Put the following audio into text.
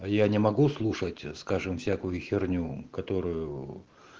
а я не могу слушать скажем всякую херню которую